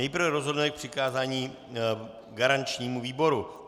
Nejprve rozhodneme o přikázání garančnímu výboru.